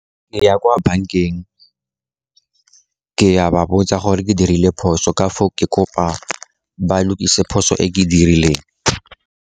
Ke ya kwa bankeng ke a ba botsa gore ke dirile phoso ka foo, ke kopa ba lokise phoso e ke dirileng.